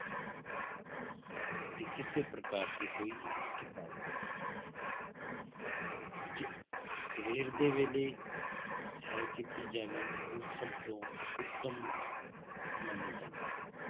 ਤੇ ਕਿਸੇ ਪ੍ਰਕਾਰ ਦੀ ਕੋਈ ਥਕਾਵਟ ਜੇ ਸਵੇਰ ਦੇ ਵੇਲੇ ਸ਼ੈਰ ਕੀਤੀ ਜਾਵੇ ਉਹ ਸਭ ਤੋਂ ਉੱਤਮ ਮੰਨੀ ਜਾਂਦੀ ਹੈ।